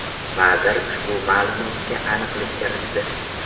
Vazir ushbu ma’lumotga aniqlik kiritdi .